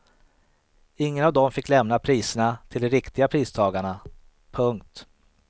Ingen av dem fick lämna priserna till de riktiga pristagarna. punkt